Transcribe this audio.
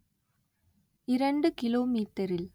இரண்டு கிலோமீட்டரில்